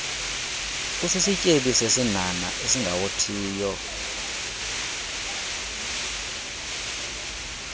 usisityebi sesinhanha esingawothiyo